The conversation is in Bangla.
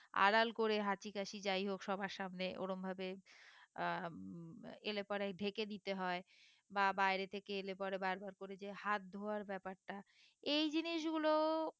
আড়াল করে হাঁচি কাশি যাই হোক সবার সামনে ওরম ভাবে আহ এলে পরে ঢেকে দিতে হয়ে বা বাইরে থেকে এলে পরে বার বার করে যে হাত ধোয়ার ব্যাপারটা এই জিনিস গুলো